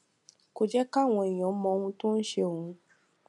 kò jé káwọn èèyàn mọ ohun tó ń ṣe òun